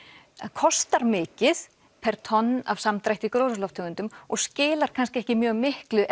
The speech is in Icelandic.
kostar mikið per tonn af samdrætti af gróðurhúsalofttegundum og skilar kannski ekki mjög miklu